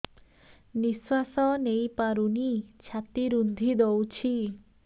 ନିଶ୍ୱାସ ନେଇପାରୁନି ଛାତି ରୁନ୍ଧି ଦଉଛି